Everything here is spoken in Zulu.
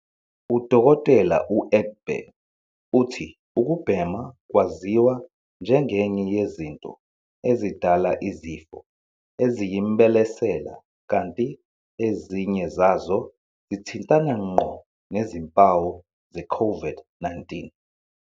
U-Dkt. u-Egbe uthi ukubhema kwaziwa njengenye yezinto ezidala izifo eziyimbelesela kanti ezinye zazo zithintana ngqo nezimpawu ze-COVID-19.